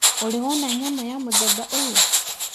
Ũrĩ wona nyamũ ya mũthemba ũyũ?